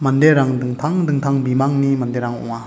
manderang dingtang dingtang bimangni manderang ong·a.